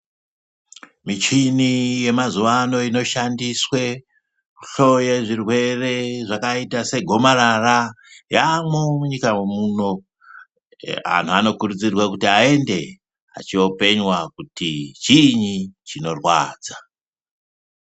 Michini yemazuvano inoshandiswe kuhloye zvirwere zvakaite segomarara yaamwo munyika muno. Antu anokurudzirwa kuti aende achiopenywa kuti chiinyi chinorwadza.